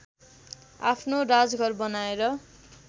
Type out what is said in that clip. आफ्नो राजघर बनाएर